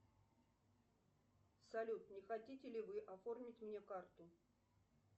салют не хотите ли вы оформить мне карту